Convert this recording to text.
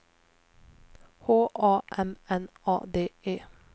H A M N A D E